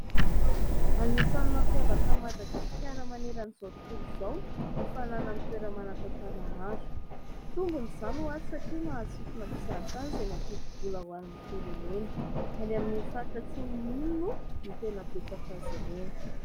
Anisany mampiavana an'i Madagasikara manerana izao tontolo izao ny fananany toerana manan-tantara maro, tombony izany ho azy satria mahasintona mpizahatany izay mampidi-bola ho an'ny firenena, any amin'ny faritra Atsimo iny moa no tena betsaka azy ireny.